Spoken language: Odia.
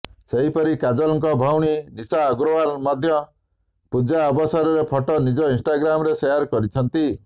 ସେହିପରି କାଜଲଙ୍କ ଭଉଣୀ ନିଶା ଅଗ୍ରଓୱାଲ ମଧ୍ୟ ପୂଜା ଅବସରରେ ଫଟୋ ନିଜ ଇନ୍ଷ୍ଟାଗ୍ରାମରେ ସେୟାର କରିଛନ୍ତି